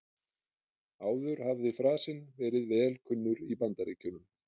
Áður hafði frasinn verið vel kunnur í Bandaríkjunum.